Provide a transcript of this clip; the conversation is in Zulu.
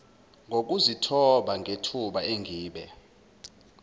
ngokuzithoba ngethuba engibe